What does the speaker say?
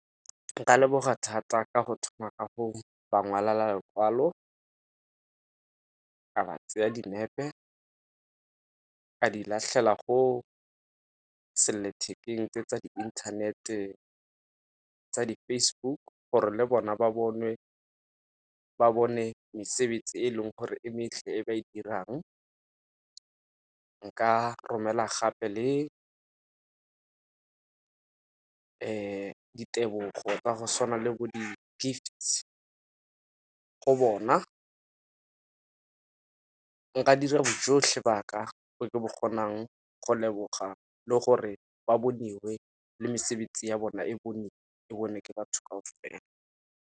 Nka leboga thata ka go thoma ka go ba ngwalela lekwalo, ka ba tsaya dinepe ka di latlhela go sellathekeng tse tsa di inthanete tsa di-Facebook gore le bona ba bonwe, ba bone mesebetsi e leng gore e e ba e dirang. Nka romela gape le ditebogo tsa go tshwana le bo di-gifts go bona, nka dira bojotlhe ba ka jo ke bo kgonang go leboga le gore ba boniwe le mesebetsi ya bona e e bonwe ke batho ka .